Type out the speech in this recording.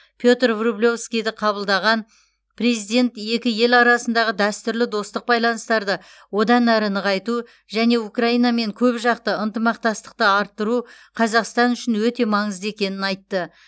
петр врублевскийді қабылдаған президент екі ел арасындағы дәстүрлі достық байланыстарды одан әрі нығайту және украинамен көпжақты ынтымақтастықты арттыру қазақстан үшін өте маңызды екенін айтты